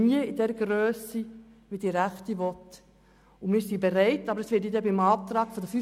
Dies aber niemals in dem Ausmass, wie es die Rechte will.